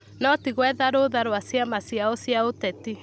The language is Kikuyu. No ti gwetha rũũtha rwa ciama ciao cia ũteti.